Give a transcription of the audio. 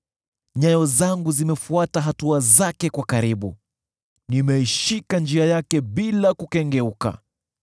Nyayo zangu zimefuata hatua zake kwa karibu; nimeishika njia yake bila kukengeuka.